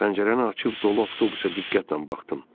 Pəncərəni açıb dolu avtobusa diqqətlə baxdım.